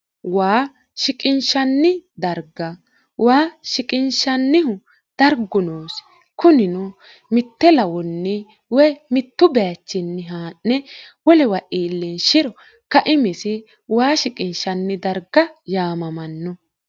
waa shiqinshanni darga waa shiqinshannihu dargunoosi kunino mitte lawonni wo mittu baachinni haa'ne wolewa iilleenshiro kaimisi waa shiqinshanni darga yaamamanno